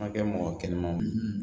Ma kɛ mɔgɔ kɛnɛman ye